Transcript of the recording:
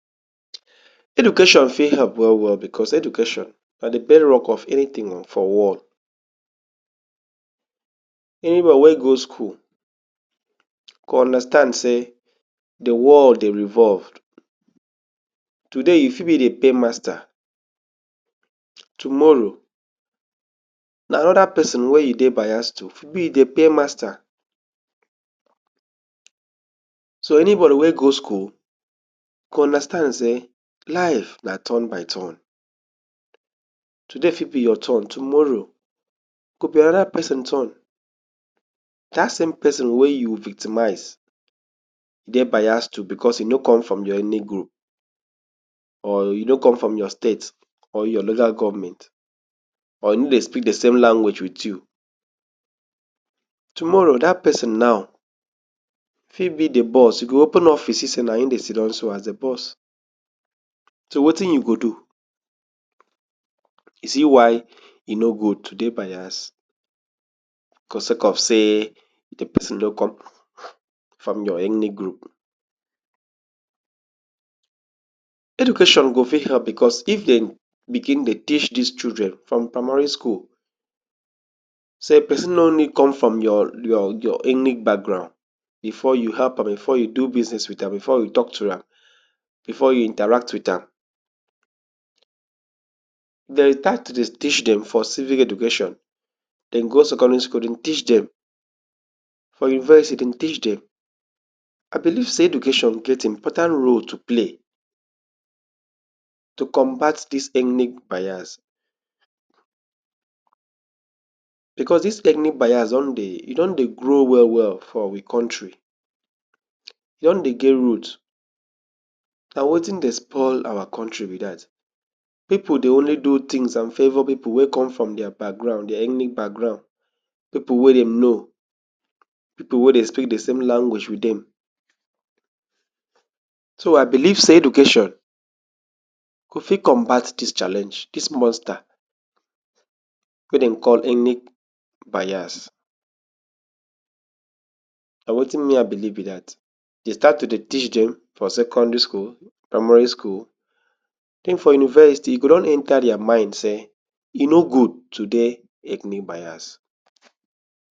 Education fit help well well, bcos education na de bedrock of anytin o for world. Anyone wey go skul go understand sey de world dey revolve, today you fit be de pay master tomorrow na oda person wey e dey bias to be de pay master. So anybody wey go skul go understand sey life na turn by turn. Today fit be your turn tomorrow go be ora pesin turn dat same person wey you victimize, dey bias to bcos e no com from your enic group or e no com from your state or your local govment or e ne dey speak de same language wit you. Tomorrow dat person now fi be de boss e go open office see sey na him dey sit down so as de boss so wetin you go do e see why e no good to dey bias cos sake of sey de person no come from your enic group. Education go fit help bcos if dem begin dey teach dis children from primary school say person nor need come from your your your ethnic background befor you help am befor you do business wit am before you talk am befor you interact wit am. Dem start to dey teach dem for civic education de go secondary school de teach de for university de teach dem. I beliv say education get important role tu play tu combat dis enic bias bcos dis ethnic bias don dey e don dey grow well well for we kontri e don dey get root na wetin dey spoil our kontri be dat pipu dey only do tins and favour pipu wey com from deir background deir ethnic background pipu wey dem know pipu wey dey speak de same language wit dem so I biliv sey education go fit combat dis challenge dis monster wey dem call enic bias na wetin me I believe be dat de start tu dey teach dem from secondary school, primary school den for university e go don enter deir mind say e nor good tu dey ethnic bias.